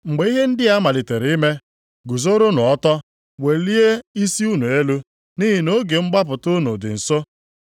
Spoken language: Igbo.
Mgbe ihe ndị a malitere ime, guzoronụ ọtọ welie isi unu elu, nʼihi na oge mgbapụta unu dị nso.”